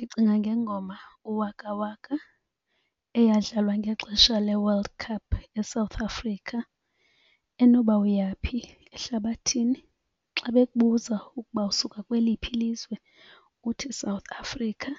Ndicinga ngengoma uWaka Waka eyadlalwa ngexesha leWorld Cup eSouth Africa. Enoba uyaphi ehlabathini xa bekubuza ukuba usuka kweliphi lizwe uthi South Africa